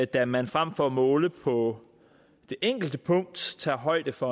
da man frem for at måle på det enkelte punkt tager højde for